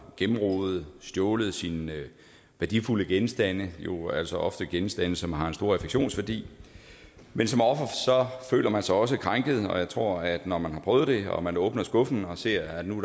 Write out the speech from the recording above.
gennemrodet og stjålet sine værdifulde genstande jo altså ofte er genstande som har en stor affektionsværdi men som offer føler man sig også krænket og jeg tror at når man har prøvet det og man åbner skuffen og ser at nu